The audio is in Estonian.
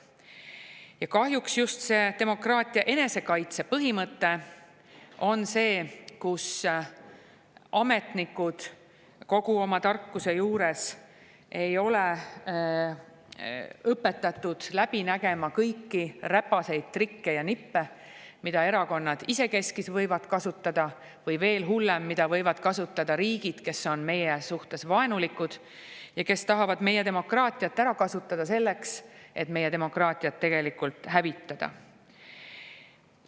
Ja kahjuks just demokraatia enesekaitse põhimõte on see, mille puhul ametnikud kogu oma tarkuse juures ei ole õpetatud läbi nägema kõiki räpaseid trikke ja nippe, mida erakonnad isekeskis võivad kasutada, või veel hullem, mida võivad kasutada riigid, kes on meie suhtes vaenulikud ja kes tahavad meie demokraatiat ära kasutada selleks, et meie demokraatiat tegelikult hävitada.